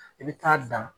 I bɛ taa dan